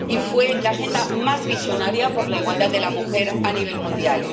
Y fue la agenda más visionaria por la igualdad de la mujer a nivel mundial.